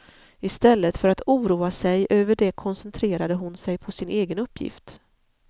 Istället för att oroa sig över det koncentrerade hon sig på sin egen uppgift.